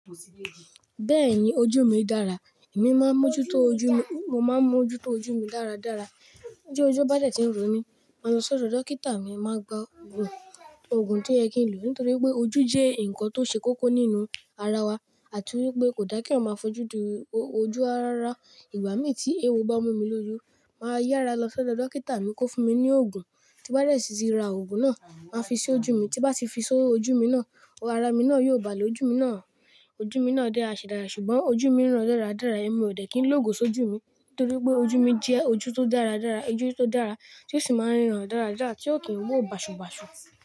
Bẹ́ẹ̀ni ojú mi dára, èmi máa ń mójú tó ojú mi, mo máa ń mójú tó ojú mi dáradára. Bójú bájẹ̀ tí ń rò mí, màá lọ sọ́dọ̀ dókítà mi, màá gba òògùn, òògùn tí oye kìí n lò nítorí pé ojú jẹ́ ǹkan tó ṣe kókó nínú ara wa àti wípé kò dá kí eyan máa fojú di ojú rarara Ìgbà mí tí ewo bá mú mi lójú, màá yára lọ sọ́dọ̀ dókítà mi kó fún mi ní òògùn tí bá dẹ̀ síí ra òògùn náà, màá fi sí ojú mi tí bá ti fi sí ojú mi náà, ara mí náà yóò bà lé ojú mi náà, ojú mi náà dára ṣìdára ṣùgbọ́n ojú mi ń ràn dáradára, èmi ò dẹ̀ kín lógo sójú mi nítorí pé ojú mi jẹ́ ojú tó dáradára, ojú tó dára tí ó sì máa ń ràn dáradára tí ó kìí wò bàṣù bàṣù.